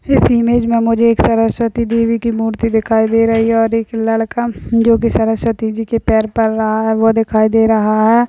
इस इमेज में मुझे एक सरस्वती देवी की मूर्ति दिखाई दे रही है और एक लड़का जो की सरस्वती जी के पैर पड़ रहा है वह दिखाई दे रहा हैं।